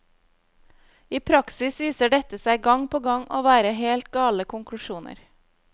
I praksis viser dette seg gang på gang å være helt gale konklusjoner.